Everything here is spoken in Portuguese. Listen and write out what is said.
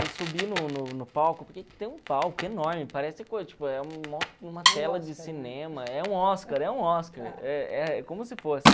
Eu subi no no no palco, porque tem um palco enorme, parece uma tela de cinema, é um Oscar, é um Oscar, é é como se fosse.